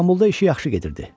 İstanbulda işi yaxşı gedirdi.